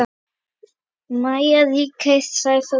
Maja, Ríkey, Sæþór og Jara.